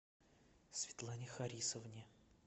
светлане харисовне